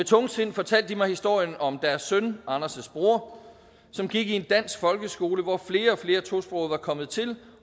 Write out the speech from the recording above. tungsind fortalt de mig historien om deres søn anders bror som gik i en dansk folkeskole hvor flere og flere tosprogede var kommet til